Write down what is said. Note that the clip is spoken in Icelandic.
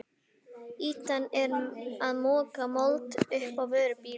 Ýtan er að moka mold upp á vörubíl.